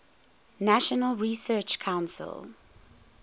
national research council